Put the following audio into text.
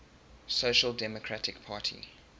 social democratic party